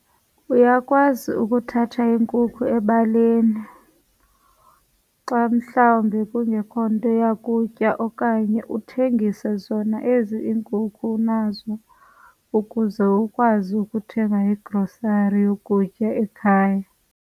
Uyakwazi ukuthatha iinkukhu ebaleni xa mhlawumbe kungekho nto yakutya okanye uthengise zona ezi iinkukhu unazo ukuze ukwazi ukuthenga igrosari yokutya ekhaya.